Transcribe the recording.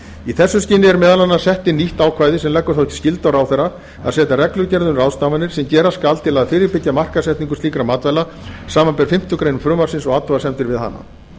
í því skyni er meðal annars sett inn nýtt ákvæði sem leggur þá skyldu á ráðherra að setja reglugerð um ráðstafanir sem gera skal til að fyrirbyggja markaðssetningu slíkra matvæla samanber fimmtu grein frumvarpsins og athugasemdir við hana